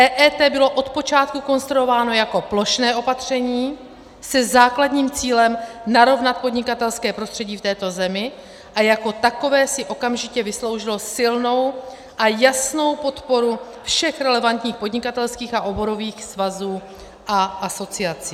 EET bylo od počátku konstruováno jako plošné opatření se základním cílem narovnat podnikatelské prostředí v této zemi a jako takové si okamžitě vysloužilo silnou a jasnou podporu všech relevantních podnikatelských a oborových svazů a asociací.